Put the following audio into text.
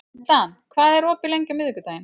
Dan, hvað er opið lengi á miðvikudaginn?